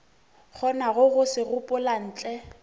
kgonago go se gopola ntle